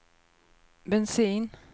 bensin